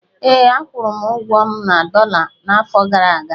Ee, akwụrụ ụgwọ m na dọla n'afọ gara aga